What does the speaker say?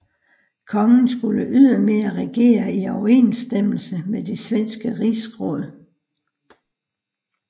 Kongen skulle ydermere regere i overensstemmelse med det svenske Rigsråd